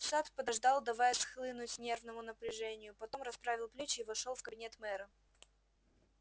сатт подождал давая схлынуть нервному напряжению потом расправил плечи и вошёл в кабинет мэра